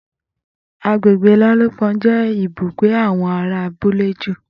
Agbègbè Lálúpon jé ibùgbé awọn ará abúlé ju